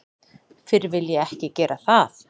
Fyrr vil ég ekki gera það.